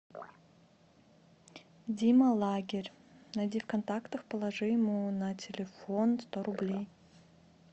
дима лагерь найди в контактах положи ему на телефон сто рублей